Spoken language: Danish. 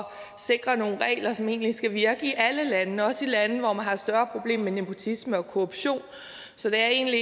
sikre nogle regler som egentlig skal virke i alle lande også i lande hvor man har større problemer med nepotisme og korruption så det er egentlig